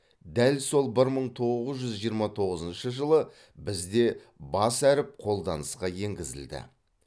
дәл сол бір мың тоғыз жүз жиырма тоғызыншы жылы бізде бас әріп қолданысқа енгізілді